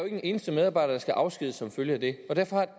en eneste medarbejder der skal afskediges som følge af det derfor